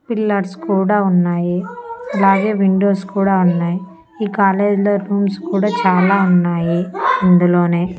Pillars కూడా ఉన్నాయి అలాగే విండోస్ కూడా ఉన్నాయ్ ఈ కాలేజీలో రూమ్స్ కూడా చాలా ఉన్నాయి ఇందులోనే.